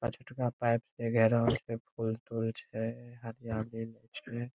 पांचतुरा pipe ले जा रहल छे छे। हाथ में छे।